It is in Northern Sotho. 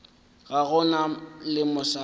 ga go na le mosadi